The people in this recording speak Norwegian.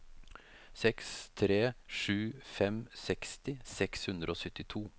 seks tre sju fem seksti seks hundre og syttito